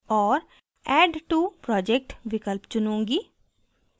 और add to project विकल्प चुनूँगी